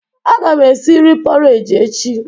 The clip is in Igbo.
Aga m esi nri pọreji echi.